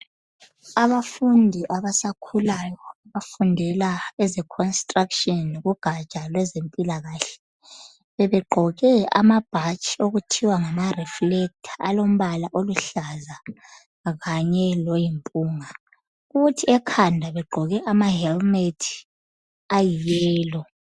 Abafundi abasakhulayo abafundela eze construction kugatsha lwempilakahle. Bebegqoke amabhatshi okuthiwa ngama reflactelor alombala oluhlaza kanye loyimpunga. Kuthi ekhanda begqoke ama helmet ayi yellow.